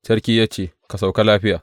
Sarki ya ce, Ka sauka lafiya.